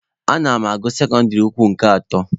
Ana m agụ sekọndịrị ukwu nke atọ.